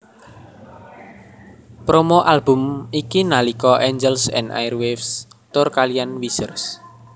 Promo album iki nalika Angels and Airwaves tur kaliyan Weezer